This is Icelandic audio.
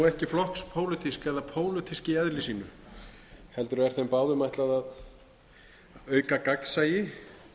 eru ekki flokkspólitísk eða pólitísk í eðli sínu heldur er þeim báðum ætlað að auka gagnsæi